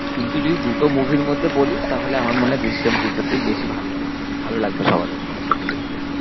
কিন্তু যদি দুটো movie র মধ্যে বলিস তাহলে আমার মনে হয় দৃশ্যাম two টা তেই বেশি ভালো হবে। ভালো লাগবে সবার আরকি একসাথে দেখতে।